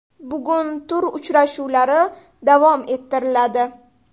Bugun tur uchrashuvlari davom ettiriladi.